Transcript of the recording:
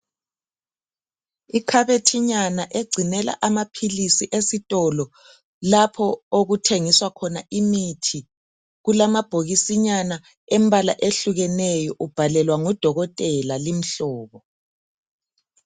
Ikhabethinyana egcinela amaphilisi esitolo lapho okuthengiswa khona imithi kulamabhokisinyana embala ehlukeneyo ubhalelwa ngudokotela limihlobo.